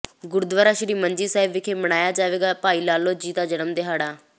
ਗੁਰਦੁਆਰਾ ਸ੍ਰੀ ਮੰਜੀ ਸਾਹਿਬ ਵਿਖੇ ਮਨਾਇਆ ਜਾਵੇਗਾ ਭਾਈ ਲਾਲੋ ਜੀ ਦਾ ਜਨਮ ਦਿਹਾੜਾ